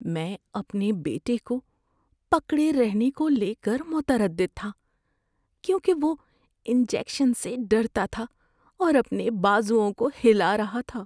میں اپنے بیٹے کو پکڑے رہنے کو لے کر متردد تھا کیونکہ وہ انجیکشن سے ڈرتا تھا اور اپنے بازوؤں کو ہلا رہا تھا۔